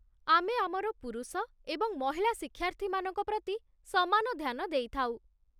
ଆମେ ଆମର ପୁରୁଷ ଏବଂ ମହିଳା ଶିକ୍ଷାର୍ଥୀମାନଙ୍କ ପ୍ରତି ସମାନ ଧ୍ୟାନ ଦେଇଥାଉ।